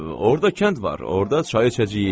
Orda kənd var, orda çay içəcəyi.